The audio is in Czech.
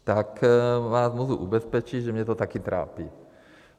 Tak vás můžu ubezpečit, že mě to taky trápí.